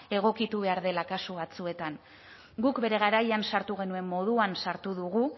egokitu behar dela kasu batzuetan guk bere garaian sartu genuen moduan sartu dugu